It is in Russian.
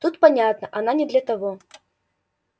тут понятно она не для того